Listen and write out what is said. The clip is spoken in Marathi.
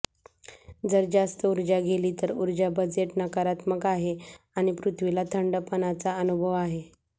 जर जास्त ऊर्जा गेली तर उर्जा बजेट नकारात्मक आहे आणि पृथ्वीला थंडपणाचा अनुभव आहे